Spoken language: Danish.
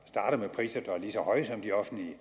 priser der er lige så høje som de offentlige